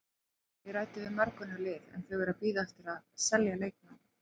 Ég ræddi við mörg önnur lið en þau eru að bíða eftir að selja leikmenn.